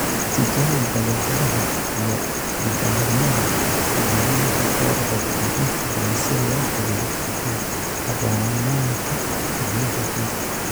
Tijaabi badeecadaha iyo nidaamyada macallimiinta goor hore iyo inta badan si loo hubiyo ku habboonaanta macnaha guud